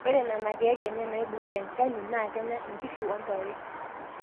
Ore Nena keek enye naibung'ita enchani naa kenya nkishu o ntare.